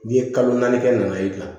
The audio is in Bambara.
N'i ye kalo naani kɛ nana i bila